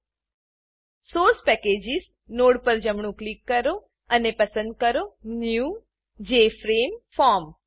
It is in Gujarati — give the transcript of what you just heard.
source packages source packages node પર જમણું ક્લિક કરો અને પસંદ કરો new new J F R M E form JFrame form